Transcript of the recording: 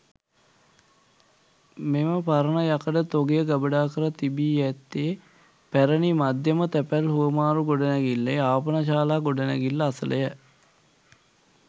මෙම පරණ යකඩ තොගය ගබඩා කර තිබී ඇත්තේ පැරැණි මධ්‍යම තැපැල් හුවමාරු ගොඩනැඟිල්ලේ ආපනශාලා ගොඩනැඟිල්ල අසලය.